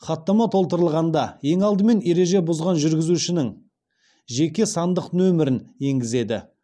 хаттама толтырғанда ең алдымен ереже бұзған жүргізушінің жеке сандық нөмірін енгізеді